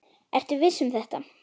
Ertu viss um þetta?